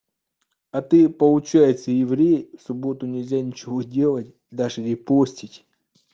а ты получается еврей в субботу нельзя ничего делать даже репостить